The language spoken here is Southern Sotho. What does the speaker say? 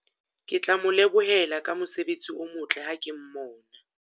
Ke tla mo lebohela ka mosebetsi o motle ha ke mmona.